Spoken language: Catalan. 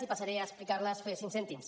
i passaré a explicar les en faré cinc cèntims